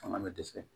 Fanga bɛ dɛsɛ